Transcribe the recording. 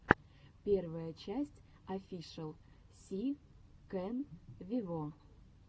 первая часть офишел си кэн вево